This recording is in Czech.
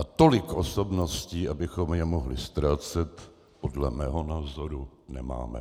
A tolik osobností, abychom je mohli ztrácet, podle mého názoru nemáme.